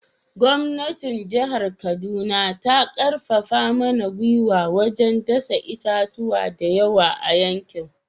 Gwamnatin jihar Kaduna ta karfafa mana gwiwa wajen dasa itatuwa da yawa a yankin